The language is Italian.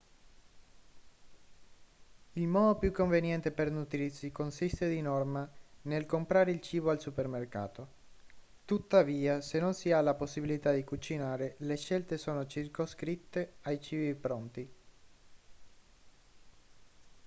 il modo più conveniente per nutrirsi consiste di norma nel comprare il cibo al supermercato tuttavia se non si ha la possibilità di cucinare le scelte sono circoscritte ai cibi pronti